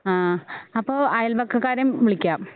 ആ അപ്പൊ അയൽവക്കകാരേം വിളിക്കാം